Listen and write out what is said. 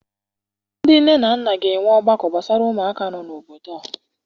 Ndị nne na nna ga-enwe ọgbakọ gbasara ụmụaka nọ n'obodo a.